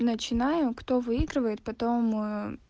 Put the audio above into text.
начинаю кто выигрывает потом